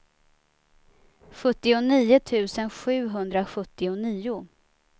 sjuttionio tusen sjuhundrasjuttionio